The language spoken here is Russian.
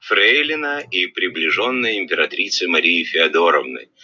фрейлины и приближенной императрицы марии феодоровны